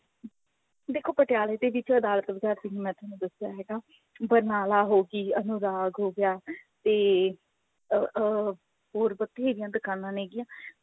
ਦੇਖੋ ਪਟਿਆਲੇ ਦੇ ਵਿੱਚ ਅਦਾਲਤ ਬਜ਼ਾਰ ਮੈਂ ਤੁਹਾਨੂੰ ਦੱਸਿਆ ਹੈਗਾ ਬਰਨਾਲਾ ਹੋਗੀ ਹੋ ਗਿਆ ਤੇ ਅਹ ਅਹ ਹੋਰ ਬਥੇਰੀਆਂ ਦੁਕਾਨਾ ਹੈਗਿਆ